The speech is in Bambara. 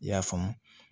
I y'a faamu